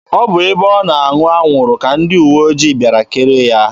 Ọ bụ ebe ọ na-aṅụ anwụrụ ka ndị uwe ojii bịara kere ya.